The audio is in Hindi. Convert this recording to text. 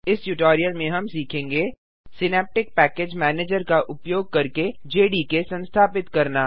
इस ट्यूटोरियल में हम सीखेंगे सिनैप्टिक पैकेज मैनेजर का उपयोग करके जेडीके संस्थापित करना